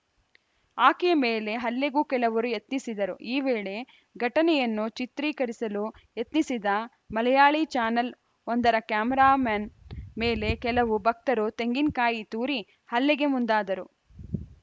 ಆಕೆಯ ಮೇಲೆ ಹಲ್ಲೆಗೂ ಕೆಲವರು ಯತ್ನಿಸಿದರು ಈ ವೇಳೆ ಘಟನೆಯನ್ನು ಚಿತ್ರೀಕರಿಸಲು ಯತ್ನಿಸಿದ ಮಲಯಾಳಿ ಚಾನೆಲ್‌ ಒಂದರ ಕ್ಯಾಮರಾಮ್ಯಾನ್‌ ಮೇಲೆ ಕೆಲವು ಭಕ್ತರು ತೆಂಗಿನಕಾಯಿ ತೂರಿ ಹಲ್ಲೆಗೆ ಮುಂದಾದರು